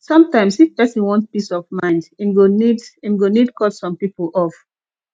sometimes if pesin wan peace of mind em go need em go need cut some people off